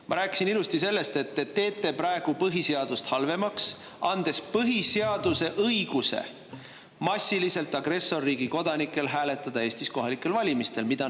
Ma rääkisin ilusti sellest, et te teete praegu põhiseadust halvemaks, andes põhiseaduses agressorriigi kodanikele õiguse massiliselt Eestis kohalikel valimistel hääletada.